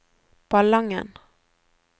Ballangen